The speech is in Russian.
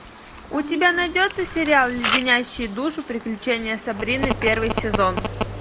у тебя найдется сериал леденящие душу приключения сабрины первый сезон